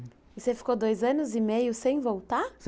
E você ficou dois anos e meio sem voltar?